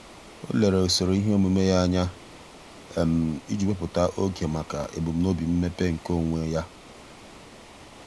ọ́ lèrè usoro ihe omume ya anya iji wèpụ́tá oge màkà ebumnobi mmepe nke onwe um ya.